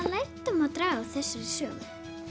lærdóm má draga af þessari sögu